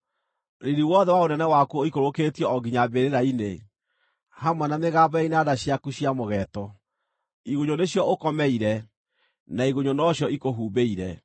Riiri wothe wa ũnene waku ũikũrũkĩtio o nginya mbĩrĩra-inĩ, hamwe na mĩgambo ya inanda ciaku cia mũgeeto; igunyũ nĩcio ũkomeire, na igunyũ nocio ikũhumbĩire.